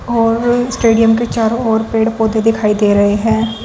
और स्टेडियम के चारों ओर पेड़ पौधे दिखाई दे रहे हैं।